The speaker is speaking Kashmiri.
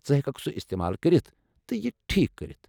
ژٕ ہیٚککھ سُہ استعمال کٔرتھ تہٕ یہِ ٹھیٖک کٔرتھ۔